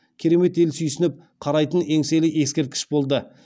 керемет ел сүйсініп қарайтын еңселі ескерткіш болды